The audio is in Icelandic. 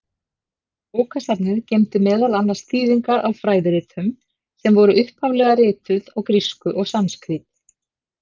Bókasafnið geymdi meðal annars þýðingar á fræðiritum, sem voru upphaflega rituð á grísku og sanskrít.